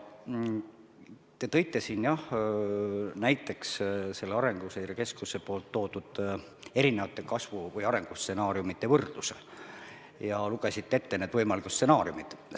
Te tõite siin näiteks Arenguseire Keskuse toodud erinevate kasvu- või arengustsenaariumide võrdluse ja lugesite need võimalikud stsenaariumid ette.